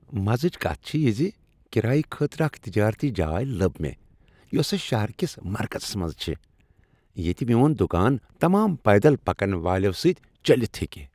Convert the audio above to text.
مزچ کتھ چھےٚ یہ زِ کرایہ خٲطرٕ اکھ تجٲرتی جاے لب مےٚ یوسہٕ شہر کس مرکزس منٛز چھِ ، ییٚتہ میون دٗکان تمام پیدل پکن والیو سۭتۍ چلِتھ ہیٚکہ۔